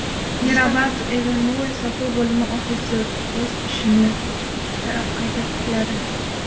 Mirabad Avenue: Sotuv bo‘limi ofisi o‘z ishini qayta tikladi.